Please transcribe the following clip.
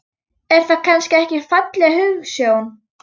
Er það kannski ekki falleg hugsjón?